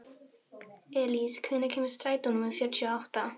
Elís, hvenær kemur strætó númer fjörutíu og átta?